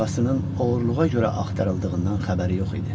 Ağasının oğurluğa görə axtarıldığından xəbəri yox idi.